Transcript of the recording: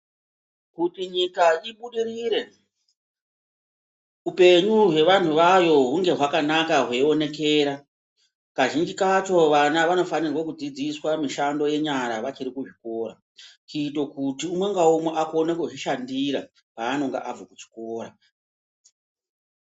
Kuti nyika ibudirire upenyu hwevantu vayo hunge hwakanaka hweionekera. Kazhinji kacho vana vanofanirwa kudzidziswa pamishando yenyara vachiri kuzvikora. Kuite kuti umwe ngaumwe akone kuzvishandira paanonga abva kuchikora.